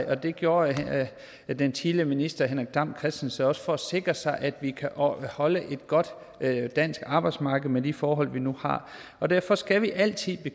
og det gjorde den tidligere minister henrik dam kristensen også for at sikre sig at vi kan opretholde et godt dansk arbejdsmarked med de forhold vi nu har derfor skal vi altid